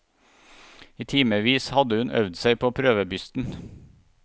I timevis hadde hun øvd seg på prøvebysten.